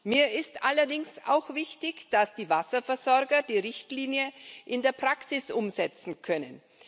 Mir ist allerdings auch wichtig, dass die Wasserversorger die Richtlinie in der Praxis umsetzen können.